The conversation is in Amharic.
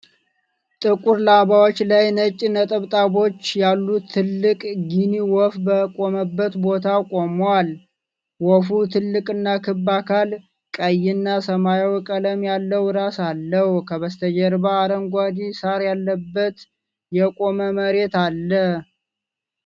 ጥቁር ላባዎች ላይ ነጭ ነጠብጣቦች ያሉት ትልቅ ጊኒ ወፍ በቆመበት ቦታ ቆሟል። ወፉ ትልቅና ክብ አካል፣ ቀይና ሰማያዊ ቀለም ያለው ራስ አለው። ከበስተጀርባ አረንጓዴ ሳር ያለበት የቆመ መሬት አለ።